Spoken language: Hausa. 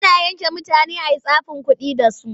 Ana yanka mutane a yi tsafin kuɗi da su.